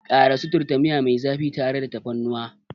Ƙara suturta miya mai zafi tare da tafarnuwa.